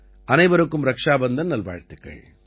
அனைவருக்கும் ரக்ஷா பந்தன் நல்வாழ்த்துக்கள்